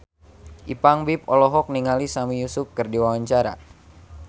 Ipank BIP olohok ningali Sami Yusuf keur diwawancara